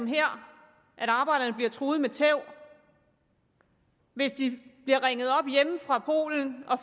her bliver truet med tæv hvis de bliver ringet op hjemme fra polen og